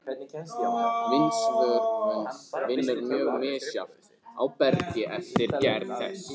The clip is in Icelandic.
Vindsvörfun vinnur mjög misjafnt á bergi eftir gerð þess.